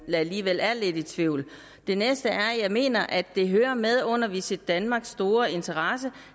alligevel er lidt i tvivl det næste er at jeg mener det hører med under visitdenmarks store interesse